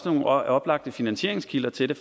nogle oplagte finansieringskilder til det